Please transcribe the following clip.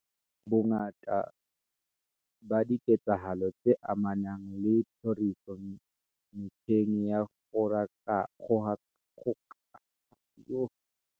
Bongata ba diketsahalo tse amanang le tlhoriso metjheng ya kgokahano.